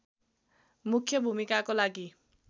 मुख्य भूमिकाको लागि